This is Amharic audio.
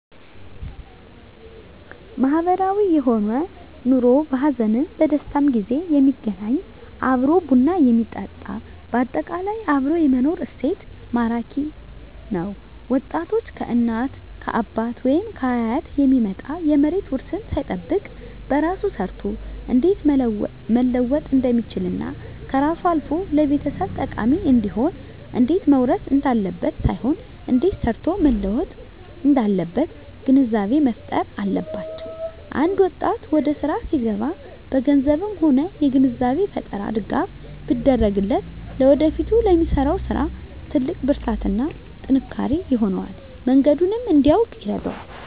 ማህበራዊ የሆነ ኑሮ በሀዘንም በደስታም ጊዜ የሚገናኝ እና አብሮ ቡና የሚጠጣ በአጠቃላይ አብሮ የመኖር እሴት ማራኪ ነዉ ወጣቶች ከእናት ከአባት ወይም ከአያት የሚመጣ የመሬት ዉርስን ሳይጠብቅ በራሱ ሰርቶ እንዴት መለወጥ እንደሚችልና ከራሱም አልፎ ለቤተሰብ ጠቃሚ እንዲሆን እንዴት መዉረስ እንዳለበት ሳይሆን እንዴት ሰርቶ መለወጥ እንዳለበት ግንዛቤ መፋጠር አለባቸዉ አንድ ወጣት ወደስራ ሲገባ በገንዘብም ሆነ የግንዛቤ ፈጠራ ድጋፍ ቢደረግለት ለወደፊቱ ለሚሰራዉ ስራ ትልቅ ብርታትና ጥንካሬ ይሆነዋል መንገዱንም እንዲያዉቅ ይረዳዋል